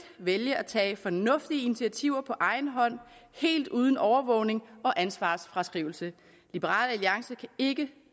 vælge at tage fornuftige initiativer på egen hånd helt uden overvågning og ansvarsfraskrivelse liberal alliance kan ikke